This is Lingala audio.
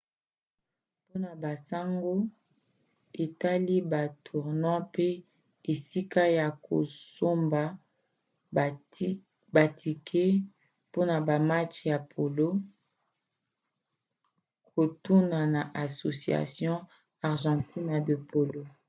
mpona basango etali batournois mpe esika ya kosomba batike mpona bamatch ya polo kotuna na asociacion argentina de polo